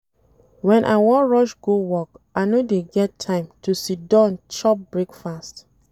Wen I wan rush go work, I no dey get time to siddon chop breakfast.